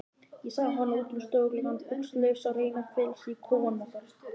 Ég sá hana út um stofugluggann, buxnalausa, reyna að fela sig í kofanum okkar.